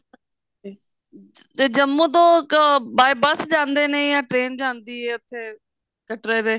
ਤੇ ਜੰਮੂ ਤੋਂ ਅਹ by bus ਜਾਂਦੇ ਨੇ ਜਾ train ਜਾਂਦੀ ਐ ਉੱਥੇ ਕਟਰੇ ਦੇ